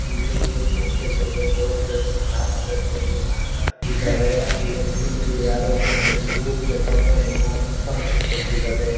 ಇಲ್ಲಿ ನೋಡ್ತಿರ್ಬೋದು ವರ್ಕರ್ಸ್ ಕಾಮಗಾರಿಗಳು ಇದ್ದಾರೆ ಈ ಇಲ್ಲಿ ಯಾರೋ ಒಬ್ಬ ಮೇನ್ ಲೀಡ್ ತಗೊಂಡು ಏನೋ ಇನ್ಫರ್ಮೇಷನ್ ಕೊಡ್ತಿದ್ದಾರೆ.